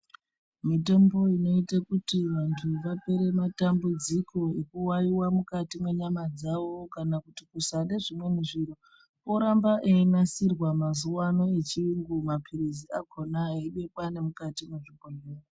Mitombo inoite kuti vantu vapore matambudziko eku wawiwa mukati mwe nyama dzavo kana kuti kusade zvimweni zviro oramba eyi nasirwa mazuva ano echiyungu mapirizi akona eyi bekwa ne mukati me zvibhedhleya.